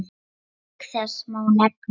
Auk þess má nefna